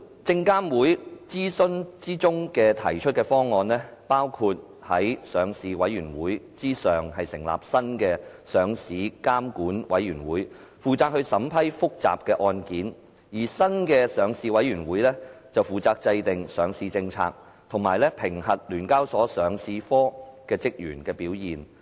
證監會諮詢時提出的方案，包括在上市委員會之上成立新的上市監管委員會，負責審批複雜的案件，而新的上市委員會則負責制訂上市政策，以及評核聯交所上市科職員的表現。